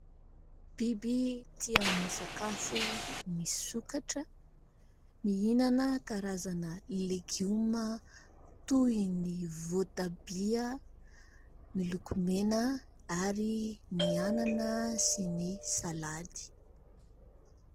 Biby tia misakafo ny sokatra. Mihinana karazana legioma toy ny voatabia miloko mena ary ny anana sy ny salady.